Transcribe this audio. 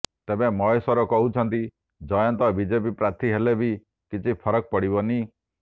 ତେବେ ମହେଶ୍ବର କହୁଛନ୍ତି ଜୟନ୍ତ ବିଜେପି ପ୍ରାର୍ଥୀ ହେଲେ ବି କିଛି ଫରକ ପଡ଼ିବନି